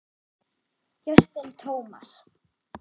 Justin Thomas